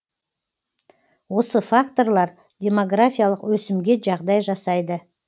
осы факторлар демографиялық өсімге жағдай жасайды